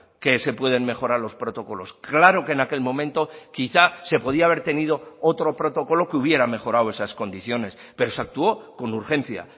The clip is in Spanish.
que se pueden mejorar los protocolos claro que en aquel momento quizá se podía haber tenido otro protocolo que hubiera mejorado esas condiciones pero se actuó con urgencia